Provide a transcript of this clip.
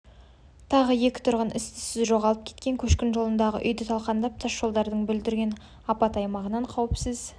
тағы екі тұрғын із-түссіз жоғалып кеткен көшкін жолындағы үйді талқандап тасжолдарды бүлдірген апат аймағынан қауіпсіз